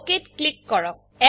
OKত ক্লিক কৰক